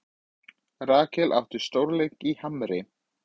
Rakel átti stórleik í Hamri